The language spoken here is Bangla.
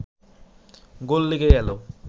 গোল লেগে গেল